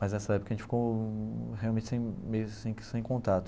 Mas nessa época a gente ficou realmente sem meio assim que sem contato.